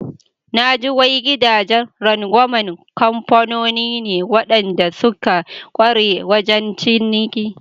Naji wai gidajen rangwaman kamfanoni ne waɗanda suka ƙware wajen ciniki.